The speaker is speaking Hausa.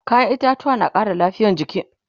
kayan itatauwa na Ƙara lafia a jiki